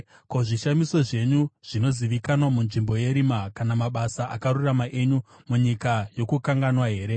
Ko, zvishamiso zvenyu zvinozivikanwa munzvimbo yerima, kana mabasa akarurama enyu munyika yokukanganwa here?